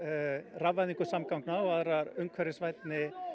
rafvæðingu samgangna og aðra umhverfisvænni